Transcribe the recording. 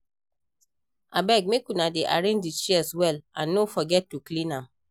Abeg make una dey arrange the chairs well and no forget to clean am